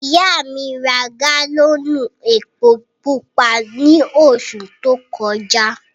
Ìyà mi rá gálọ́nù èpò púpà ní ọṣù tó kọja.